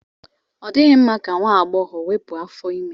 Ọ dịghị mma ka nwa agbọghọ wepụ afọ ime.